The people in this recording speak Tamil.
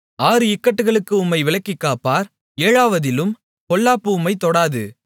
ஆறு இக்கட்டுகளுக்கு உம்மை விலக்கிக்காப்பார் ஏழாவதிலும் பொல்லாப்பு உம்மைத் தொடாது